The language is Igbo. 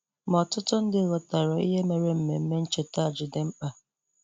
Ma ọtụtụ ndị ghọtara ihe mere ememe ncheta a ji dị mkpa.